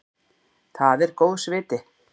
Það er góðs viti.